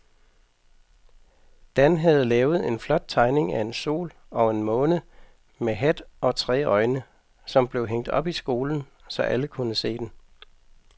Dan havde lavet en flot tegning af en sol og en måne med hat og tre øjne, som blev hængt op i skolen, så alle kunne se den.